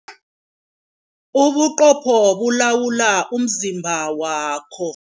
Ubuqopho bulawula umzimba wakho.